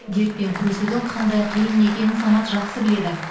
дертпен күресудің қандай қиын екенін самат жақсы біледі